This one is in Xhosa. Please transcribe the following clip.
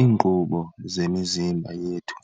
Iinkqubo zemizimba yethu